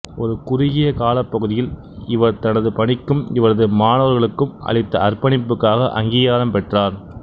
ஒரு குறுகிய காலப்பகுதியில் இவர் தனது பணிக்கும் இவரது மாணவர்களுக்கும் அளித்த அர்ப்பணிப்புக்காக அங்கீகாரம் பெற்றார்